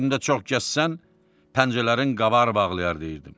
Üstündə çox gəzsən, pəncələrin qabar bağlayar deyirdim.